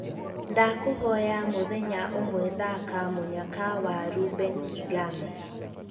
ndakūhoya mūthenya ūmwe thaka mūnyaka wa Reuben kigame